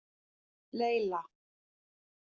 Laila